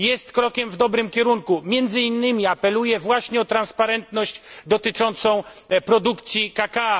Jest krokiem w dobrym kierunku, między innymi apeluje właśnie o transparentność dotyczącą produkcji kakao.